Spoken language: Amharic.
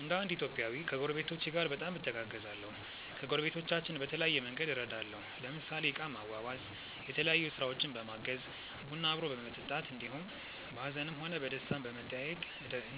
እንደ እንድ ኢትዮጵያዊ ከጐረቤቶቼ ጋር በጣም እተጋገዛለሁ። ከጐረቤቶቻችን በተለያየ መንግድ እረዳለሁ ለምሳሌ እቃ ማዋዋስ፣ የተለያዮ ስራውችን በማገዝ፣ ቡና አብሮ በመጠጣት እንዲሁም በሀዝንም ሆነ በደስታም በመጠያዬቅ